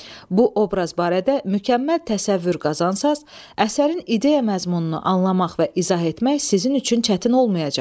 Bu obraz barədə mükəmməl təsəvvür qazansaz, əsərin ideya məzmununu anlamaq və izah etmək sizin üçün çətin olmayacaq.